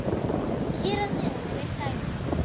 Hér að neðan er eitt dæmi: